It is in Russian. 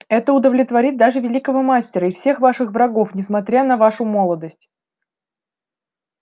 это удовлетворит даже великого мастера и всех ваших врагов несмотря на вашу молодость